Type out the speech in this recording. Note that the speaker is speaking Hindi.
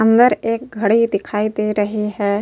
अंदर एक घड़ी दिखाई दे रही है।